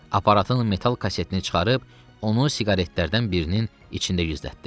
Aparatın metal kasetini çıxarıb, onu siqaretlərdən birinin içində gizlətdi.